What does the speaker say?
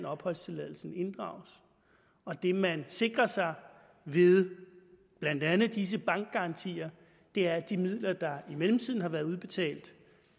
opholdstilladelsen inddrages og det man sikrer sig ved blandt andet disse bankgarantier er at de midler der i mellemtiden har været udbetalt